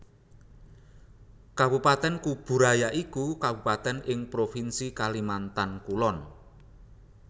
Kabupatèn Kubu Raya iku kabupatèn ing Provinsi Kalimantan Kulon